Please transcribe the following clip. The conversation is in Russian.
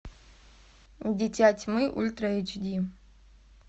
дитя тьмы ультра эйч ди